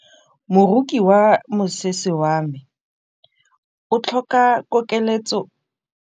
Moroki wa mosese wa me o tlhoka koketsô ya lesela.